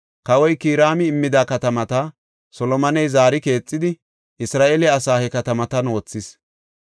Kawoy Kiraami immida katamata Solomoney zaari keexidi Isra7eele asaa he katamatan wothis.